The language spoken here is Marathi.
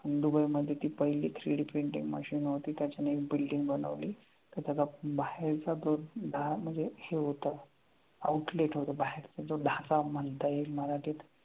दुबई मध्ये ती पहिली Three D printing machine होती त्याच्याने एक building बनवली तर त्याचा बाहेरचा जो होत Outlet होत बाहेरचं ढा म्हणजे हे होता जो ढाचा म्हणता येईल मराठीत.